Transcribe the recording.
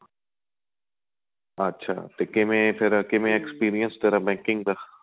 ਅੱਛਾ ਤੇ ਕਿਵੇਂ ਫ਼ਿਰ ਕਿਵੇਂ ਆਂ experience ਤੇਰਾ banking ਦਾ